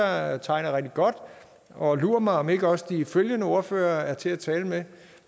jeg tegner rigtig godt og lur mig om ikke også de følgende ordførere er til at tale med